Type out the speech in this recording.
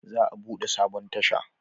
Za a bude sabon tasha